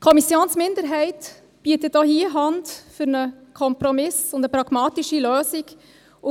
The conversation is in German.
Die Kommissionsminderheit bietet auch hier Hand für einen Kompromiss und eine pragmatische Lösung.